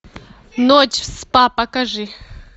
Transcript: ночь в спа покажи